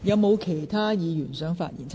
是否有其他議員想發言？